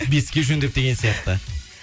беске жөндеп деген сияқты